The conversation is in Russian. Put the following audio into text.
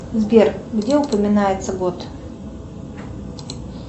сбер где упоминается год